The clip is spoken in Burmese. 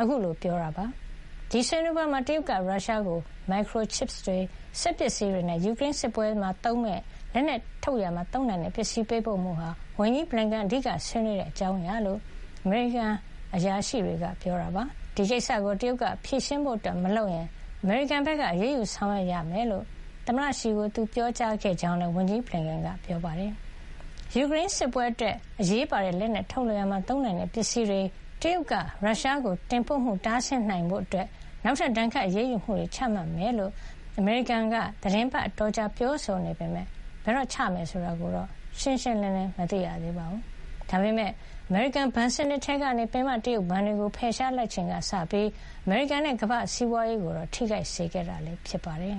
အခုလို ပြောကြားလိုက်တာ ဖြစ်ပါတယ်။ ဒီဆွေးနွေးပွဲမှာ တရုတ်က ရုရှားကို Microchips တွေ၊ စက်ပစ္စည်းတွေနဲ့ ယူကရိန်းစစ်ပွဲမှာသုံးမယ့် လက်နက်ထုတ်လုပ်ရာမှာ သုံးနိုင်တဲ့ ပစ္စည်းတွေပေးပို့မှုဟာ ဝန်ကြီး Blinken အဓိကဆွေးနွေးတဲ့ အကြောင်းအရာဖြစ်ကြောင်း အမေရိကန်အရာရှိတွေက ပြောပါတယ်။ ဒီကိစ္စကို တရုတ်က ဖြေရှင်းဖို့မလုပ်ရင် အမေရိကန်က အရေးယူဆောင်ရွက်ရမှာဖြစ်ကြောင်း သမ္မတရှီကို သူပြောကြားခဲ့တယ်လို့ ဝန်ကြီး Blinken ကပြောပါတယ်။ ယူကရိန်းစစ်ပွဲအတွက် အရေးပါတဲ့ လက်နက်ထုတ်ရာမှာ သုံးနိုင်တဲ့ပစ္စည်းတွေ တရုတ်က ရုရှားကို တင်ပို့မှု တားဆီးနိုင်ဖို့ နောက်ထပ် ဒဏ်ခတ်အရေးယူမှုတွေ ချမှတ်မှာ ဖြစ်ကြောင်း အမေရိကန်က သီတင်းပတ်အတော်ကြာ ပြောဆိုနေပေမယ့် ဘယ်တော့ ချမှတ်မယ်ဆိုတာ ရှင်းရှင်းလင်းလင်း မသိရသေးပါဘူး။ ဒါပေမဲ့ အမေရိကန် ဘဏ်စနစ်ထဲကနေ ပင်မ တရုတ်ဘဏ်တွေကို ဖယ်ရှားလိုက်ချိန်ကစပြီး အမေရိကန်နဲ့ ကမ္ဘာ့စီးပွားရေးကိုတော့ ထိခိုက်စေခဲ့တာ ဖြစ်ပါတယ်